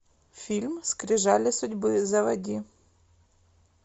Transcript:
фильм скрижали судьбы заводи